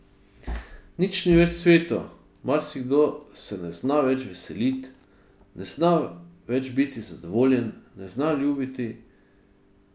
Nič ni več sveto, marsikdo se ne zna več veseliti, ne zna več biti zadovoljen, ne zna ljubiti.